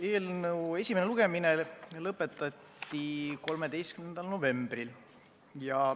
Eelnõu esimene lugemine lõpetati 13. novembril.